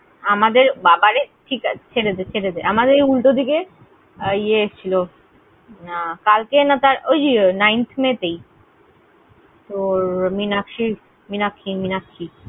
আমাদের, বাবা রে, ঠিক আছে, ঠিক আছে, ছেড়ে দে, ছেড়ে দে। আমাদের এই উল্টোদিকে, এই ইয়ে এসেছিলো কালকে না, ওই যে nineth may তেই, মীনাক্ষী, মীনাক্ষী।